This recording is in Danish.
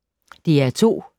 DR2